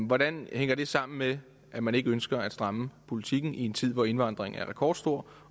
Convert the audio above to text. hvordan hænger det sammen med at man ikke ønsker at stramme politikken i en tid hvor indvandringen er rekordstor